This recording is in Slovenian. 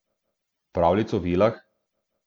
Pravljic o vilah?